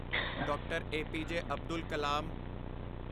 D R. A P J. Abdul Kalam